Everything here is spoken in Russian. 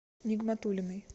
нигматуллиной